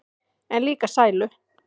En líka sælu.